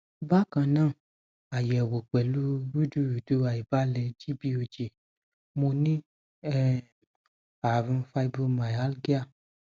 bákan náà ayẹwo pẹlu rudurudu aibalẹ gbog mo ní um àrùn fibromyalgia